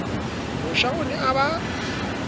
mosha o ne a ba